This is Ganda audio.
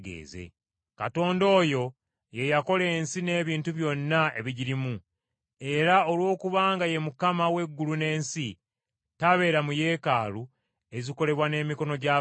“Katonda oyo ye yakola ensi n’ebintu byonna ebigirimu. Era olwokubanga ye Mukama w’eggulu n’ensi tabeera mu yeekaalu ezikolebwa n’emikono gy’abantu,